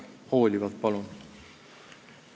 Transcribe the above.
Hoolivalt, palun!